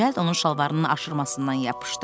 Cəld onun şalvarının aşramasından yapışdı.